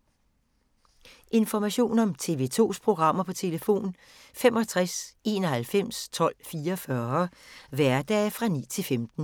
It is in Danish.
Information om TV 2's programmer: 65 91 12 44, hverdage 9-15.